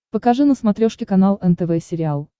покажи на смотрешке канал нтв сериал